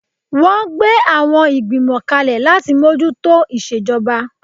Wọ́n gbé àwọn Ìgbìmọ̀ kalẹ̀ láti mójú tó ìṣejọba